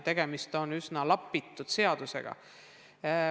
Tegemist on üsna lapitud seadusega.